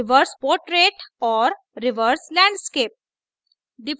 reverse portrait reverse portrait और reverse landscape reverse landscape